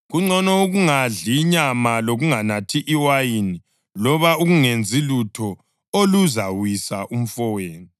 Kungcono ukungadli inyama lokunganathi iwayini loba ukungenzi lutho oluzawisa umfowenu.